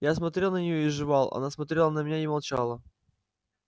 я смотрел на неё и жевал она смотрела на меня и молчала